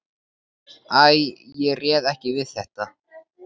Æ, ég réð ekki við þetta.